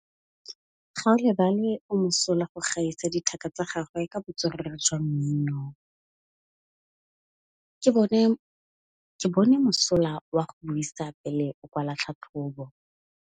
Gaolebalwe o mosola go gaisa dithaka tsa gagwe ka botswerere jwa mmino. Ke bone mosola wa go buisa pele o kwala tlhatlhobô.